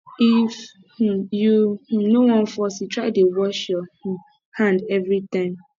if um you um no wan fall sick try dey wash your um hand every time